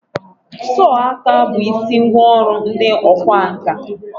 sọọ aka bụ isi ngwa ọrụ ndị ọkwá nkà.